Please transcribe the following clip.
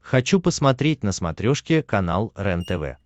хочу посмотреть на смотрешке канал рентв